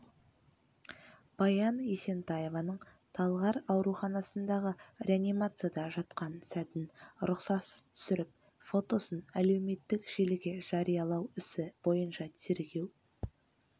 баян есентаеваның талғар ауруханасындағы реанимацияда жатқан сәтін рұқсатсыз түсіріп фотосын әлеуметтік желіге жариялау ісі бойынша тергеу